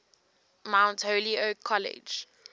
mount holyoke college